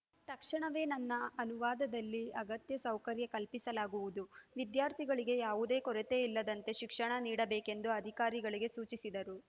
ತಕ್ಷಣವೇ ನನ್ನ ಅನುದಾನದಲ್ಲಿ ಅಗತ್ಯ ಸೌಕರ್ಯ ಕಲ್ಪಿಸಲಾಗುವುದು ವಿದ್ಯಾರ್ಥಿಗಳಿಗೆ ಯಾವುದೇ ಕೊರತೆ ಇಲ್ಲದಂತೆ ಶಿಕ್ಷಣ ನೀಡಬೇಕೆಂದು ಅಧಿಕಾರಿಗಳಿಗೆ ಸೂಚಿಸಿದರು